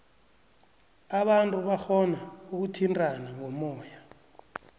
abantu barhona ukuthintana ngomoya